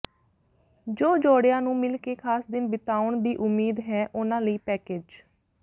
ਜੋ ਜੋੜਿਆਂ ਨੂੰ ਮਿਲ ਕੇ ਖਾਸ ਦਿਨ ਬਿਤਾਉਣ ਦੀ ਉਮੀਦ ਹੈ ਉਹਨਾਂ ਲਈ ਪੈਕੇਜ